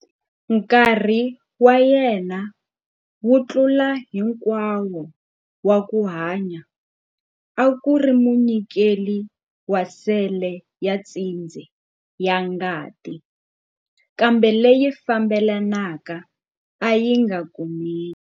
Nkarhi wa yena wo tlula hinkwayo wa ku hanya a ku ri munyikeli wa sele ya tshindze ya ngati, kambe leyi fambelanaka a yi nga kumeki.